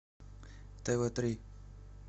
тв три